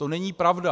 To není pravda.